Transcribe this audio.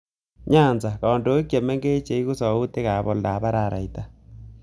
Nyanza: Kandoik chemengech cheegu sautiit ap oldoap araraita